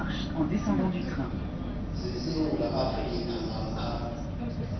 zesewula afrika namkha